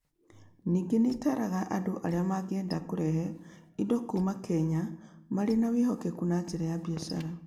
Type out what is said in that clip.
Ningĩ nĩ ĩtaaraga andũ arĩa mangĩenda kũrehe indo kuuma Kenya marĩ na wĩhokeku na njĩra ya biacara.